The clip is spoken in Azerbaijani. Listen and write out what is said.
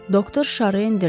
Doktor şarı endirdi.